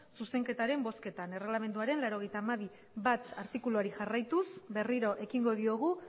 zuzenketaren bozketan erregelamenduaren laurogeita hamabi puntu bat artikuluari jarraituz berriro ekingo diogu